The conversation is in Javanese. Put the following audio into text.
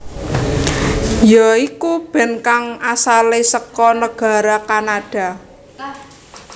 ya iku band kang asalé saka negara Kanada